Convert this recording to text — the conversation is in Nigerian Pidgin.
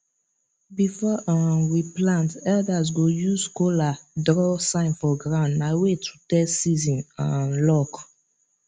before um we plant elders go use kola draw sign for ground na way to test season um luck